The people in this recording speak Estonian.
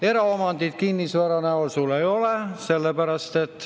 Eraomandit kinnisvara näol sul ei ole.